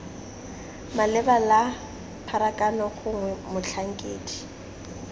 maleba la pharakano gongwe motlhankedi